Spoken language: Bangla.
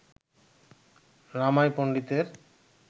রামাই পণ্ডিতের